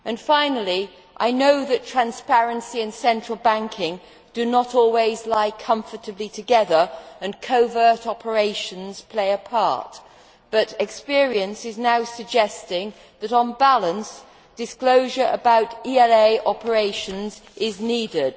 Finally, I know that transparency and central banking do not always lie comfortably together and that covert operations play a part, but experience is now suggesting that, on balance, disclosure about ELA operations is needed.